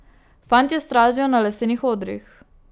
Fantje stražijo na lesenih odrih.